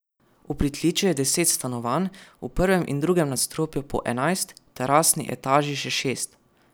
V pritličju je deset stanovanj, v prvem in drugem nadstropju po enajst, v terasni etaži še šest.